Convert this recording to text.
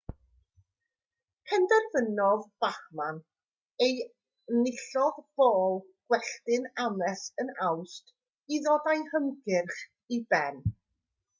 penderfynodd bachmann a enillodd bôl gwelltyn ames yn awst i ddod â'i hymgyrch i ben